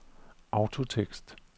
autotekst